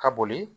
Ka boli